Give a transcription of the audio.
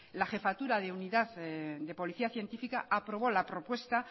la jefatura de unidad de policía científica aprobó la propuesta